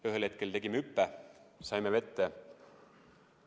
Ühel hetkel tegime hüppe, saime vette.